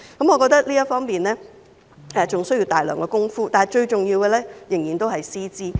我覺得這方面還需要大量工夫，但最重要的仍然是師資。